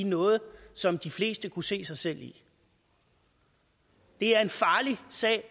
noget som de fleste kunne se sig selv i det er en farlig sag